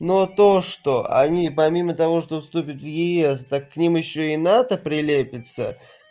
но то что они помимо того что вступят в ес так к ним ещё и нато прилепится